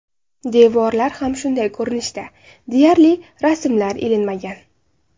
Devorlar ham shunday ko‘rinishda, deyarli, rasmlar ilinmagan.